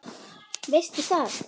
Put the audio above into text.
Veistu það?